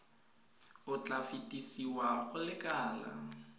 o tla fetesiwa go lekala